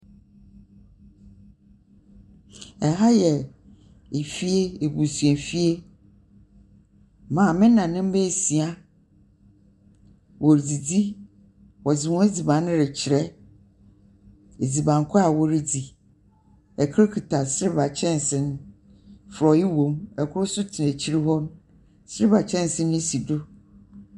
Ɛha yɛ fie, abusuafie. Maame na ne mba esia wɔredzidzi. Wɔdze hɔn adziban no rekyerɛ, adziban kon a wɔredzi. Ikor kita silva kyɛnsee, frɔe wɔ mu. Ikor tena akyir hɔ. Silva kyɛnsee si do.